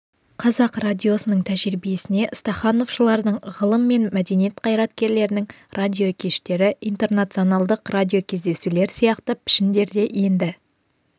қазақ радиосының тәжірибесіне стахановшылардың ғылым мен мәдениет қайраткерлерінің радиокештері интернационалдық радиокездесулер сияқты пішіндер де енді